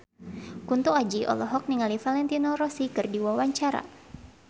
Kunto Aji olohok ningali Valentino Rossi keur diwawancara